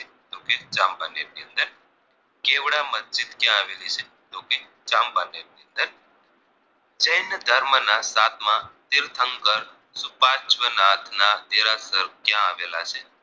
ચાંપાનેર ની અંદર જૈન ધર્મના સાતમા તીર્થંકર સુપાર્શ્વનાથના દેરાસર ક્યાં આવેલા છે